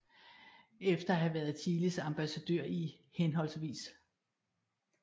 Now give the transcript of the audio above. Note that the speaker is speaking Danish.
Efter at have været Chiles ambassadør i hhv